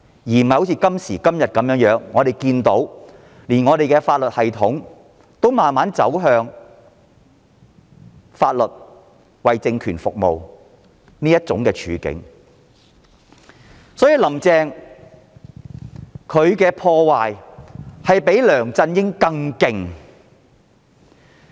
時至今日，連法律系統也逐漸走向為政權服務的境況，"林鄭"對香港的破壞比梁振英更甚。